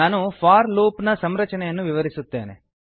ನಾನು for loop ನ ಸಂರಚನೆಯನ್ನು ವಿವರಿಸುತ್ತೇನೆ